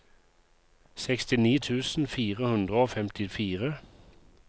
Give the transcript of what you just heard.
sekstini tusen fire hundre og femtifire